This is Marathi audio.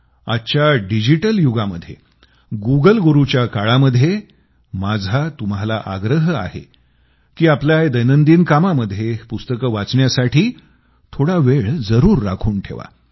आजच्या डिजिटल युगामध्ये गुगल गुरूच्या काळामध्ये माझा तुम्हाला आग्रह आहे की आपल्या दैनंदिन कामामध्ये पुस्तकं वाचण्यासाठी थोडा वेळ जरूर राखून ठेवा